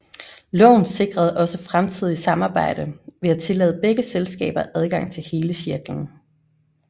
Loven sikrede også fremtidig samarbejde ved at tillade begge selskaber adgang til hele cirklen